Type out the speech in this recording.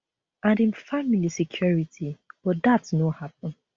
and im family security but dat no happun